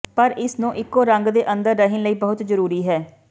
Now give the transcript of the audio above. ਪਰ ਇਸ ਨੂੰ ਇੱਕੋ ਰੰਗ ਦੇ ਅੰਦਰ ਰਹਿਣ ਲਈ ਬਹੁਤ ਜ਼ਰੂਰੀ ਹੈ